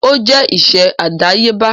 Ó jẹ́ iṣẹ́ àdáyébá.